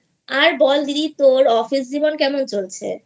আর বল দিদি তোর অফিস জীবন কেমন চলছে?